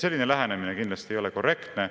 Selline lähenemine kindlasti ei ole korrektne.